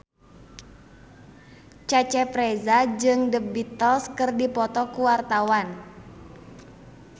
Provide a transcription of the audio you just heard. Cecep Reza jeung The Beatles keur dipoto ku wartawan